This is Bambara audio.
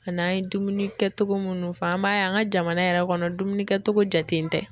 An' an ye dumuni kɛ togo munnu fɔ an b'a ye an ka jamana yɛrɛ kɔnɔ dumunikɛtogo jaten tɛ